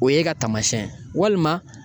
O ye e ka taamasiyɛn ye walima